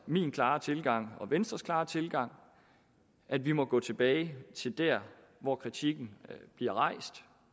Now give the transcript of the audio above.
min klare tilgang og venstres klare tilgang at vi må gå tilbage til der hvor kritikken bliver rejst